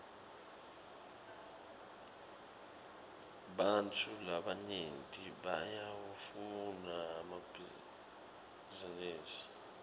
ebantfu labanyenti bayawafuna emabhisinisi